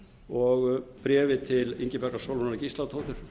og bréfið til ingibjargar sólrúnar gísladóttur